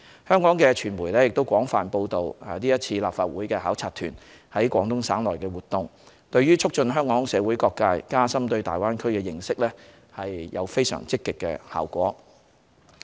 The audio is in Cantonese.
香港的傳媒亦廣泛報道立法會考察團在廣東省內的活動，這對促進香港社會各界加深對大灣區的認識有非常積極的效果。